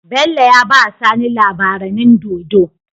Bello yabawa sani labaranin dodo